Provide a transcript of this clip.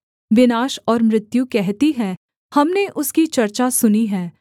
विनाश और मृत्यु कहती हैं हमने उसकी चर्चा सुनी है